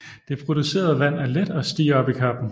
Det producerede vand er let og stiger op i kappen